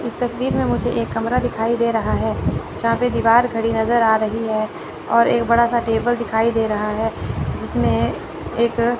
इस तस्वीर में मुझे एक कमरा दिखाई दे रहा है जहां पे दीवार घड़ी नजर आ रही है और एक बड़ा सा टेबल दिखाई दे रहा है। जिसमें एक--